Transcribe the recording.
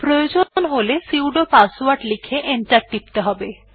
প্রয়োজন হলে sudo password লিখে এন্টার টিপতে হবে